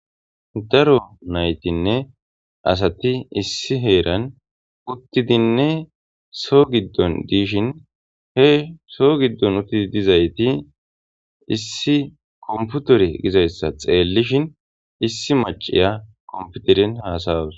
Daro nayitinee asati issi heran utidine so gidon dishin he so gidon uti dizayis issi kopitere dizayisa xelishin issi macay kopiteren hasayawus